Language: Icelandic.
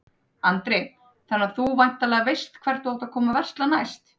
Andri: Þannig að þú þá væntanlega veist hvert þú átt að koma að versla næst?